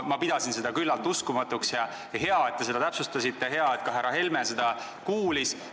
Ma pidasin seda küllalt uskumatuks ja hea, et te seda täpsustasite, ja hea, et ka härra Helme seda kuulis.